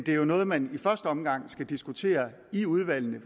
er jo noget man i første omgang skal diskutere i udvalgene